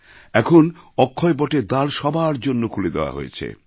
এখন অক্ষয় বটের দ্বার সবার জন্য খুলে দেওয়া হয়েছে